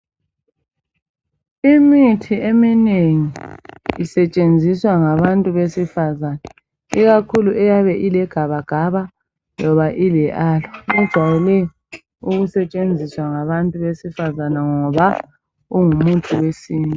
Imithi eminengi ijayelwe ukusetshenziswa ngabesifazans ikakhulu elegabagaba loba iAloe abesifazana bayayisebemzisa ngoba ingumuthi wesintu.